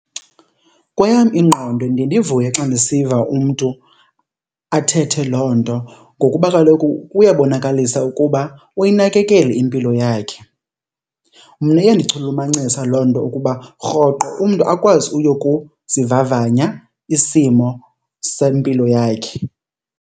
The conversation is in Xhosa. Kweyam ingqondo ndiye ndivuye xa ndisiva umntu athethe loo nto ngokuba kaloku kuyabonakalisa ukuba uyinakekele impilo yakhe. Mna iyandichulumancisa loo nto ukuba rhoqo umntu akwazi uyokuzivavanya isimo sempilo yakhe.